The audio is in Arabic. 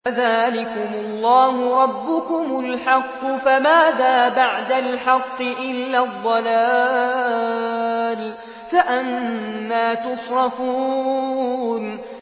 فَذَٰلِكُمُ اللَّهُ رَبُّكُمُ الْحَقُّ ۖ فَمَاذَا بَعْدَ الْحَقِّ إِلَّا الضَّلَالُ ۖ فَأَنَّىٰ تُصْرَفُونَ